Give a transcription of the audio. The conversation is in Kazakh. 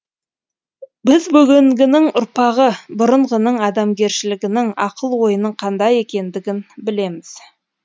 біз бүгінгінің ұрпағы бұрынғының адамгершілігінің ақыл ойының қандай екендігін білеміз